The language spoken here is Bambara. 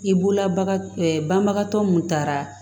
I bolola ba banbagatɔ mun taara